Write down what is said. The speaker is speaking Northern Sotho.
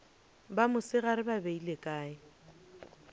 ba mosegare ba beile kae